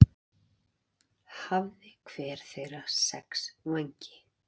Hafði hver þeirra sex vængi.